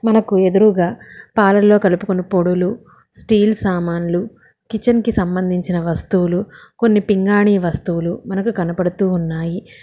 మనకు ఎదురుగా పాలల్లో కలుపుకొని పొడులు స్టీల్ సామాన్లు కిచెన్ కి సంబంధించిన వస్తువులు కొన్ని పింగాణి వస్తువులు మనకు కనబడుతూ ఉన్నాయి.